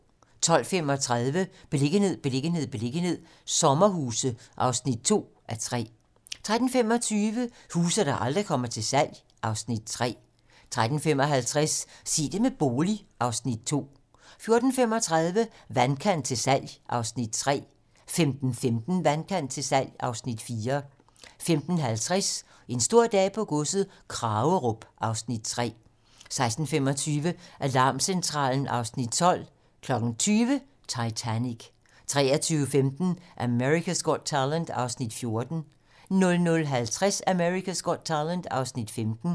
12:35: Beliggenhed, beliggenhed, beliggenhed - sommerhuse (2:3) 13:25: Huse, der aldrig kommer til salg (Afs. 3) 13:55: Sig det med bolig (Afs. 2) 14:35: Vandkant til salg (Afs. 3) 15:15: Vandkant til salg (Afs. 4) 15:50: En stor dag på godset - Kragerup (Afs. 3) 16:25: Alarmcentralen (Afs. 12) 20:00: Titanic 23:15: America's Got Talent (Afs. 14) 00:50: America's Got Talent (Afs. 15)